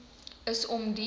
is om die